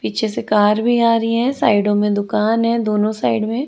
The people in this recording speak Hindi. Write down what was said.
पीछे से कार भी आ रही है साइडों में दुकान है दोनों साइड में।